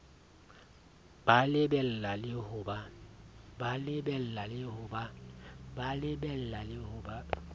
ba lebella le ho ba